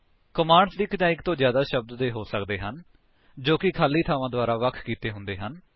commands ਇੱਕ ਜਾਂ ਇੱਕ ਤੋਂ ਜਿਆਦਾ ਸ਼ਬਦ ਦੇ ਹੋ ਸਕਦੇ ਹਨ ਜੋ ਕਿ ਖਾਲੀ ਥਾਵਾਂ ਦੁਆਰਾ ਵੱਖ ਕੀਤੇ ਹੁੰਦੇ ਹਨ